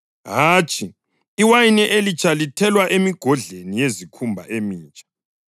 Hatshi, iwayini elitsha lithelwa emigodleni yezikhumba emitsha.